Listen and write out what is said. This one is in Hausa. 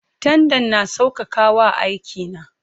Tandan na sauƙaƙa wa aiki na.